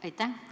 Aitäh!